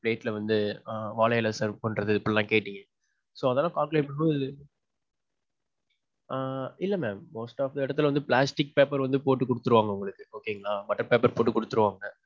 plate ல வந்து வாழ இலை serve பண்றது. இப்படிலாம் கேட்டிங்க. so, அதெல்லாம் calculate பாக்கும்போது. ஆ. இல்ல mam. Most of எடத்துல வந்து plastic paper வந்து போட்டு குடுத்துருவாங்க உங்களுக்கு okay ங்களா. butter paper போட்டு குடுத்திருவாங்க.